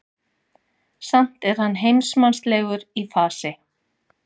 Samt er hann heimsmannslegur í fasi.